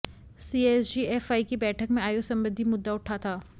CSGFI की बैठक में आयु संबंधी मुद्दा उठा था